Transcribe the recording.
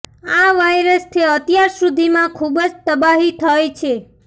આ વાયરસથી અત્યાર સુધીમાં ખૂબ જ તબાહી થઈ છે